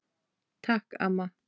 Takk, amma.